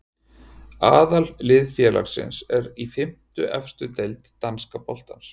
Aðallið félagsins er í fimmtu efstu deild danska boltans.